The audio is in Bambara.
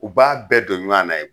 U b'a bɛɛ don ɲɔan na ye